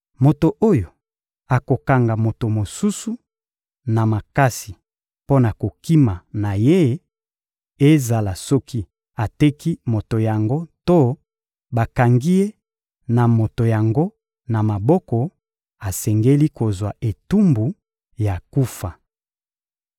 Moto oyo akokanga moto mosusu na makasi mpo na kokima na ye, ezala soki ateki moto yango to bakangi ye na moto yango na maboko, asengeli kozwa etumbu ya kufa.